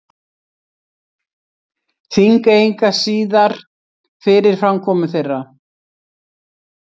Þingeyinga síðar fyrir framkomu þeirra.